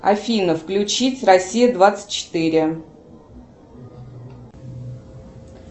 афина включить россия двадцать четыре